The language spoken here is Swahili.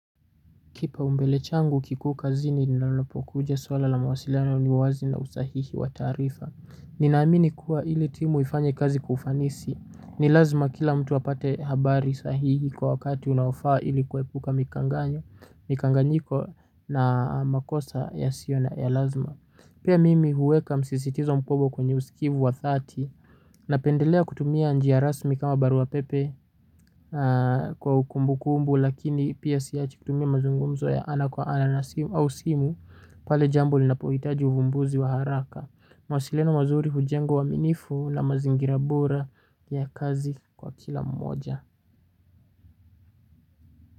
Kipaumbele changu kikuu kazini ninapokuja suala la mawasiliano, uwazi na usahihi wa taarifa. Ninaamini kuwa ili timu ifanye kazi kwa ufanisi ni lazma kila mtu apate habari sahihi kwa wakati unaofaa ili kuepuka mikanganyo. Mikanganyiko na makosa yasiyo na, ya lazma. Pia mimi huweka msisitizo mkubwa kwenye usikivu wa thati. Napendelea kutumia njia rasmi kama barua pepe kwa ukumbu kumbu lakini pia siachi kutumia mazungumzo ya ana kwa ana na simu au simu pale jambo linapohitaji uvumbuzi wa haraka. Mawasiliano mazuri hujenga uaminifu na mazingira bora ya kazi kwa kila mmoja.